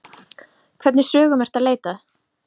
Hvernig sögum ertu að leita að?